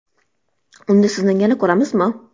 Unda Sizni yana ko‘ramizmi?